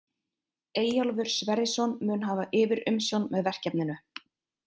Eyjólfur Sverrisson mun hafa yfirumsjón með verkefninu.